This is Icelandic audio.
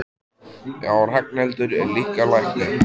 Já, og Ragnhildur er líka læknir.